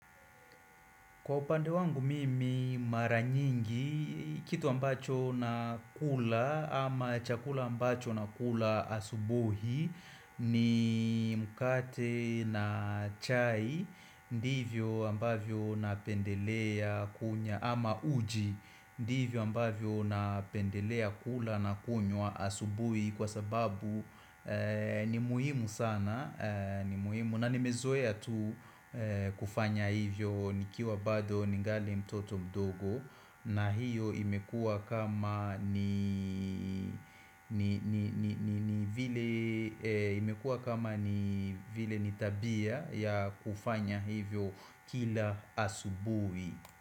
Kwa upande wangu mimi maranyingi, kitu ambacho nakula ama chakula ambacho nakula asubuhi ni mkate na chai ndivyo ambavyo napendelea kunywa ama uji ndivyo ambavyo napendelea kula na kunywa asubuhi Kwa sababu ni muhimu sana na nimezoea tu kufanya hivyo nikiwa bado ningali mtoto mdogo na hiyo imekuwa kama ni tabia ya kufanya hivyo kila asubuhi.